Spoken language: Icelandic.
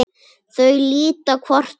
Þau líta hvort á annað.